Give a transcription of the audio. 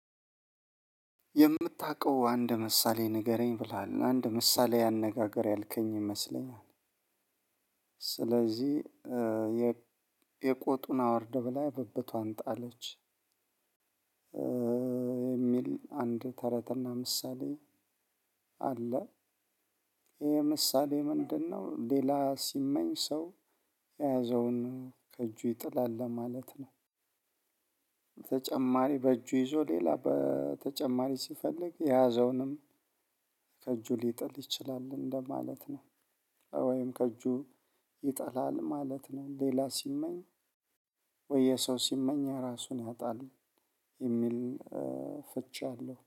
የምታውቀው አንድ ምሳሌ ንገረኝ ብለሃል አንድ ምሳሌ አነጋገር ያልከኝ ይመስለኛል ስለዚህ የቆጡን አውርደ ብላ ብብቷን ጣለች። የሚል አንድ ተረትና ምሳሌ አለ። ይሄ ምሳሌ ምንድነው? ሌላ ሲመኝ ሰው የያዘውን ከእጁ ይጥላል ለማለት ነው። ተጨማሪ በእጁ ይዞ ሌላ በተጨማሪ ሲፈልግ የያዘውንም ከእጁ ሊጥል ይችላል እንደማለት ነው። ወይም ከእጁ ይጥላል ማለት ነው። ሌላ ሲመኝ ወይ የሰው ሲመኝ ራሱን ያጣል። የሚል ፍቺ አለው